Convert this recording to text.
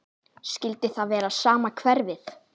Skyldi það vera sama hverfið?